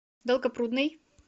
долгопрудный